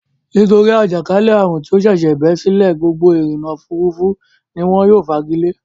Nítorí àjàkálẹ́ àrùn tí ó ṣẹ̀ṣẹ̀ bẹ́ sílẹ̀ gbogbo ìrìnnà-òfurufú ni wọ́n yóò fagilé.